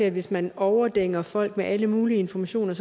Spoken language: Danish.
at hvis man overdænger folk med alle mulige informationer